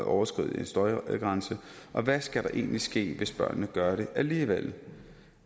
overskrider en støjgrænse og hvad skal der egentlig ske hvis børnene gør det alligevel